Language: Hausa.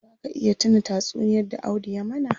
Zaa ka iya tuna tatsuniyar da Audu ya mana?